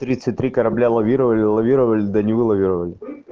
тридцать три корабля лавировали лавировали да не вылавировали